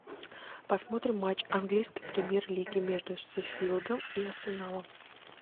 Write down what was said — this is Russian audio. посмотрим матч английской премьер лиги между шеффилдом и арсеналом